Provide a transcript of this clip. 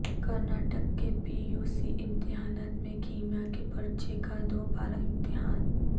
Karnataka P U C سی امتحانات میں کیمیاء کے پرچہ کا دو بارہ امتحان